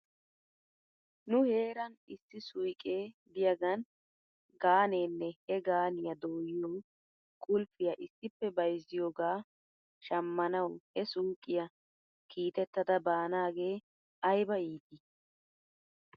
Nu heeran issi suyqqe diyaagan gaaneene he gaaniyaa dooyiyoo qulfiyaa issippe bayzziyoogaa shamanaw he suuqiyaa kiitetada baanaagee ayba iitii .